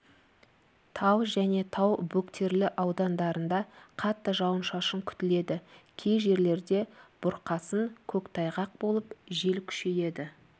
тау және тау бөктерлі аудандарында қатты жауын-шашын күтіледі кей жерлерде бұрқасын көктайғақ болып жел күшейеді